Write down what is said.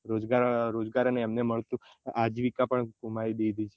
રોજગાર અને અમને મળતું આજીવિકા પણ ગુમાવી દીધી